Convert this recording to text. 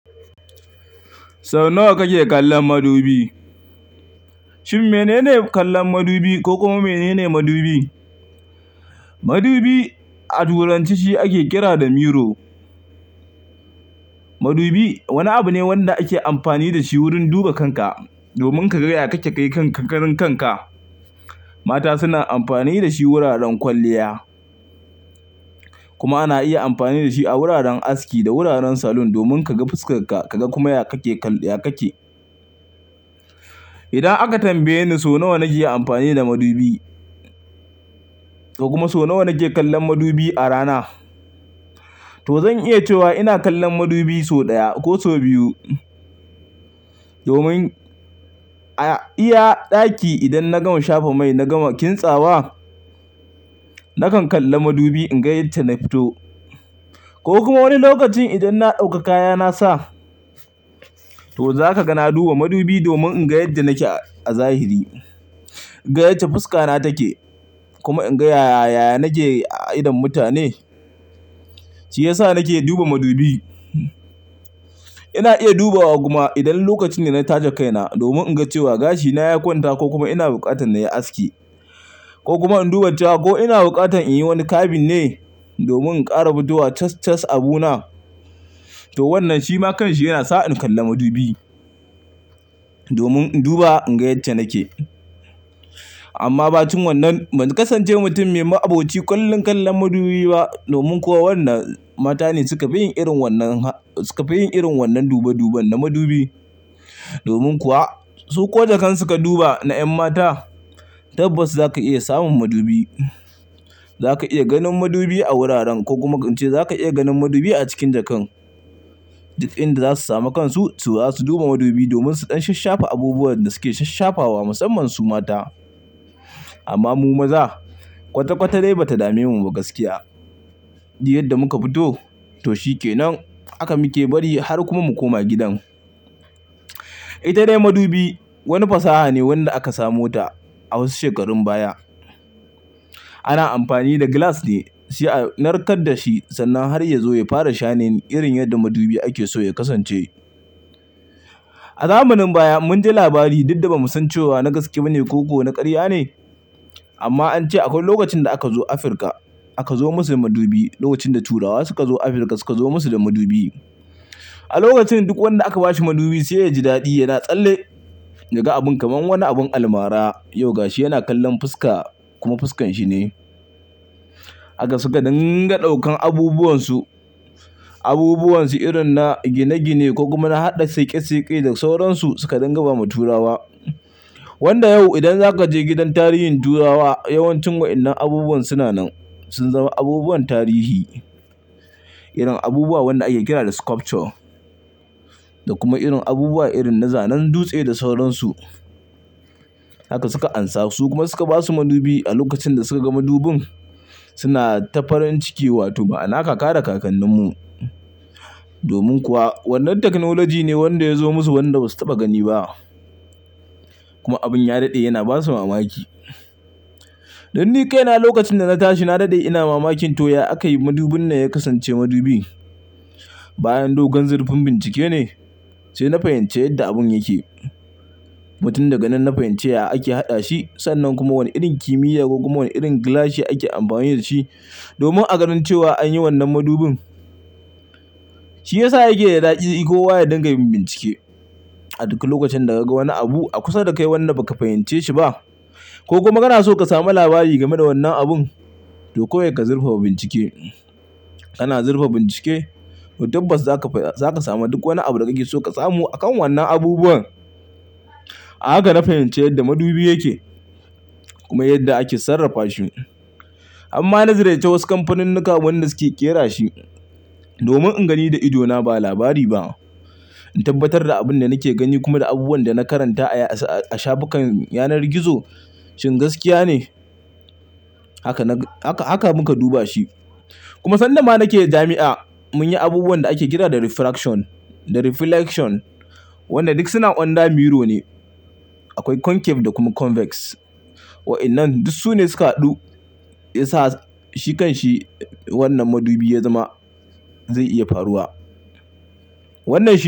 So nawa kake kallon madubi? Shin menene kallon madubi ko kuma menene madubi? Madubi a turanci shi ake kira da mirror. Madubi wani abu ne wanda ake amfani da shi wurin duba kanka domin ka ga yadda kake kan kakanin kanka. Mata suna amfani da shi wuraren kwalliya kuma ana iya amfani da shi a wuraren aski da wuraren salon domin ka ga fuskar ka, ka ga kuma yadda kake. Idan aka tambaye ni so nawa nake yi amfani da madubi, ko kuma so nawa nake kallon madubi a rana, to zan iya cewa ina kallon madubi sau ɗaya ko sau biyu. Domin a iya ɗaki idan na gama shafa mai na gama kintsa wa, nakan kalla madubi in ga yadda na fito. Ko kuma wani lokacin idan na ɗauka kaya na sa, to za ka ga na duba madubi domin in ga yadda nake a zahiri, in ga yadda fuska na take kuma in ga yaya nake a idon mutane. Shi ya sa nake duba madubi. Ina iya dubawa kuma idan lokacin ne na taje kaina domin in ga cewa gashina ya kwanta ko kuma ina bukatar na yi aski ko kuma in duba cewa ko ina bukatar in yi wani kabin ne domin in ƙara abidowa tas-tas abuna. To wannan shi ma kanshi yana sa in kalla madubi domin in duba in ga yadda nake. Amma ba cin wannan ba za ka sance mutum mai aboki kallon kallon madubi ba. Domin kuwa wannan mata ne suka fi yin irin wannan, suka fi yin irin wannan duba-duban na madubi. Domin kuwa su ko jakan suka duba na 'yan mata, tabbas za ka iya samun madubi. Za ka iya ganin madubi a wuraren ko kuma in ce za ka iya ganin madubi a cikin jakar. Duk inda za su sami kansu, to za su duba madubi domin su dan shasshafa abubuwan da suke sasshafawa musamman su mata. Amma mu maza kwata-kwata dai ba ta dame mu ba gaskiya. Duk yadda muka fito to shi ke nan. Haka muke bari har kuma mu koma gidan. Ita dai madubi wani fasaha ne wanda aka samo ta a wasu shekarun baya. Ana amfani da glass ne. Shi a narkar da shi sannan har ya zo ya fara shining irin yadda madubi ake so ya kasance. A zamanin baya mun ji labari duk da ba mu san cewa na gaskiya ne ko kuma na ƙarya ne. Amma an ce akwai lokacin da aka zo Afirka aka zo musu da madubi. Lokacin da Turawa suka zo Afirka suka zo musu da madubi. A lokacin duk wanda aka ba shi madubi sai ya ji daɗi. Yana tsalle daga abun kamar wani abin almara. Yau ga shi yana kallon fuska kuma fuskan shi ne. Haka suka dinga ɗaukan abubuwan su, abubuwan su irin na gine-gine ko kuma na haɗa sake-sake da sauransu suka dinga bawa Turawa. Wanda yau idan za ka je gidan tarihin Turawa yawancin wa'inan abubuwan suna nan. Sun zama abubuwan tarihi. Irin abubuwa wanda ake kira da sculpture da kuma irin abubuwa irin na zanen dutse da sauransu. Haka suka amsa su kuma suka ba su madubi. A lokacin da suka ga madubin suna ta farin ciki. Wato ba na kaka da kakannin mu. Domin kuwa wannan teknilaji ne wanda ya zo musu wanda ba su taɓa gani ba. Kuma abin ya daɗe yana ba su mamaki. Dan ni kaina lokacin da na tashi na daɗe ina mamakin to ya aka yi madubin nan ya kasance madubi. Bayan dogon zurfin bincike ne sai na fahimci yadda abun yake. Kuma tun daga nan na fahimci ya ake haɗa shi. Sannan kuma wani irin kimiyya ko kuma wani irin glass yake ake amfani da shi. Domin a ganin cewa an yi wannan madubin. Shi ya sa yake da daɗi iko waye don ka yi bincike. A duk lokacin da ka ga wani abu a kusa da kai wanda ba ka fahimce shi ba ko kuma kana so ka samu labari game da wannan abun, to kawai ka zurfafa bincike. Kana zurfa bincike to tabbas za ka fahimci, za ka samu duk wani abu da kake so ka samu a kan wannan abubuwan. Haka na fahimci yadda madubi yake. Kuma yadda ake sarrafa shi. Amma na ziyarci wasu kamfanunnuka wanda suke ƙera shi domin in gani da idona ba labari ba. In tabbatar da abin da nake gani kuma da abubuwan da na karanta a shagunan yanar gizo shin gaskiya ne. Haka nag, haka mun ka duba shi. Kuma sanda ma nake jami'a mun yi abubuwan da ake kira da refraction da reflection. Wanda duk suna ƙanda mirror ne. Akwai concave da kuma convex. Wa'inan duk su ne sukaɗu yasa shi kashi wannan madubi ya zama zai iya faruwa. Wannan shi.